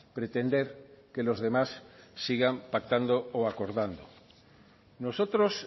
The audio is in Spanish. pretender que los demás sigan pactando o acordando nosotros